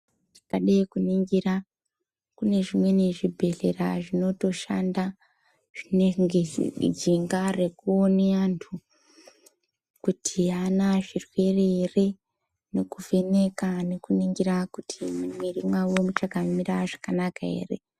Tikade kuningira, kune zvimweni zvibhedhlera zvinotoshanda zvinenge zvinemidziyo yekuone antu kuti haana zvirwere here nekuvheneka nekuningira kuti mumwiri mwavo muchakamira zvakanaka here.